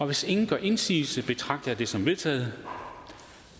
hvis ingen gør indsigelse betragter jeg det som vedtaget